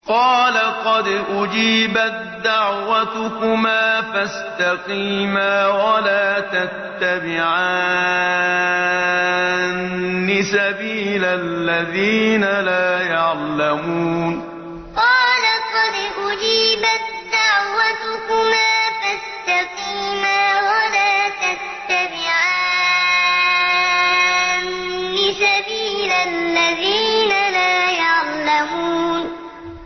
قَالَ قَدْ أُجِيبَت دَّعْوَتُكُمَا فَاسْتَقِيمَا وَلَا تَتَّبِعَانِّ سَبِيلَ الَّذِينَ لَا يَعْلَمُونَ قَالَ قَدْ أُجِيبَت دَّعْوَتُكُمَا فَاسْتَقِيمَا وَلَا تَتَّبِعَانِّ سَبِيلَ الَّذِينَ لَا يَعْلَمُونَ